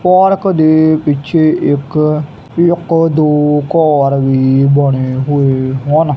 Park ਦੇ ਪਿੱਛੇ ਇੱਕ ਇੱਕ ਦੋ ਘੱਰ ਵੀ ਬਣੇ ਹੋਏ ਹਨ।